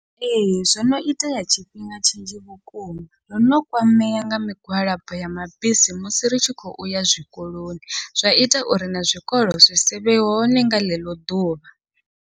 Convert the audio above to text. Ee, zwo no itea tshifhinga tshinzhi vhukuma ndono kwamea nga migwalabo ya mabisi musi ri tshi khou uya zwikoloni, zwa ita uri na zwikolo zwi sivhe hone nga ḽeḽo ḓuvha.